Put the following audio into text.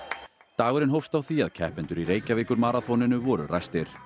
dagurinn hófst á því að keppendur í Reykjavíkurmaraþoninu voru ræstir